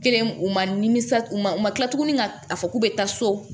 Kelen u ma nimisa u ma u ma kila tuguni ka a fɔ k'u bɛ taa so